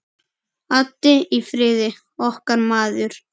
Addi í Firði, okkar maður.